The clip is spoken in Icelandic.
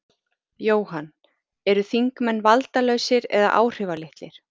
Jóhann: Eru þingmenn valdalausir eða áhrifalitlir?